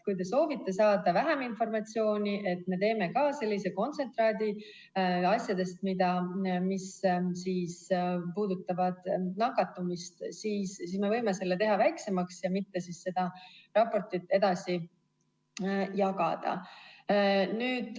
Kui te soovite saada vähem informatsiooni – et me teeme sellise kontsentraadi asjadest, mis puudutavad nakatumist –, siis me võime selle teha väiksemaks ja mitte seda raportit edasi jagada.